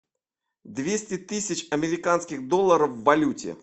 двести тысяч американских долларов в валюте